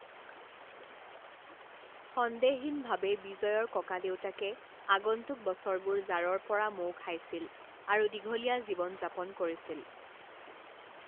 সন্দেহহীনভাৱে বিজয়ৰ ককাদেউতাকে আগন্তুক বছৰবোৰ জাৰৰ পৰা মৌ খাইছিল আৰু দীঘলীয়া জীৱন যাপন কৰিছিল।